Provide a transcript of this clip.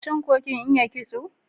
Shin ko kin iya kitso?